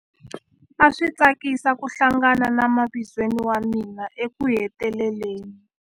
A swi tsakisa ku hlangana na mavizweni wa mina ekuheteleleni.